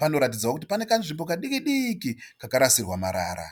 Panoratidza kuti pane kanzvimbo kadiki-diki kakarasirwa marara.